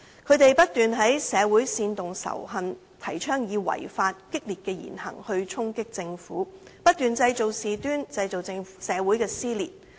他們不斷在社會煽動仇恨，提倡以違法、激烈的言行去衝擊政府，不斷製造事端，製造社會撕裂。